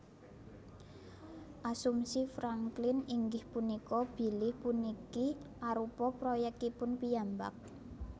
Asumsi Franklin inggih punika bilih puniki arupa proyèkipun piyambak